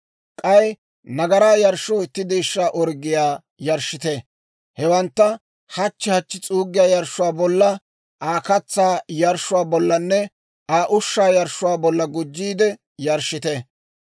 K'ay nagaraa yarshshoo itti deeshshaa orggiyaa yarshshite. Hewantta hachchi hachchi s'uuggiyaa yarshshuwaa bolla, Aa katsaa yarshshuwaa bollanne Aa ushshaa yarshshuwaa bolla gujjiide yarshshite.